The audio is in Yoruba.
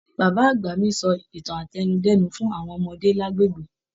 Bàbá àgbà mí sọ ìtàn átẹnudẹ́nu fún àwọn ọmọdé lagbegbe.